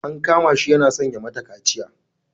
An kama shi yana son ya mata kaciya.